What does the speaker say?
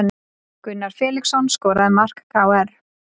Gunnar Felixson skoraði mark KR